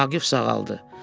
Vaqif sağaldı.